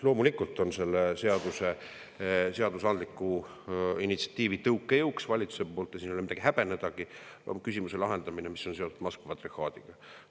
Loomulikult on selle seaduse, seadusandliku initsiatiivi tõukejõuks valitsuse poolt, ja siin ei ole midagi häbenedagi, küsimuse lahendamine, mis on seotud Moskva patriarhaadiga.